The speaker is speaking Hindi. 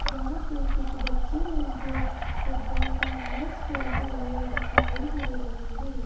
जहां पे कुछ बच्चे हैं जो फुटबॉल का मैच खेलते हुए दिखाई दे रहे हैं।